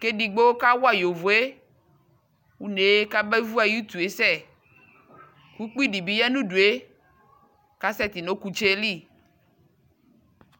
ke digbo kawa yovoe unee ka be vu aye utue sɛUkpi de be ya no udue ka sɛte no ɔkutse li